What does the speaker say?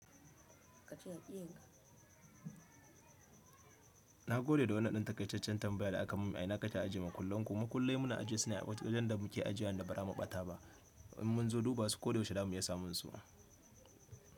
Na gode da wannan dan takaitaccen tambaya da aka mun. A ina kake ajiye makullan ku? Makullai muna ajiye su ne a wajen da muke ajiya inda ba ra muɓata ba in mun zo duba su ko da yaushe da mu iya samun su.